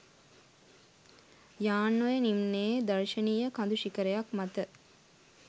යාන්ඔය නිම්නයේ දර්ශනීය කඳු ශිඛරයක් මත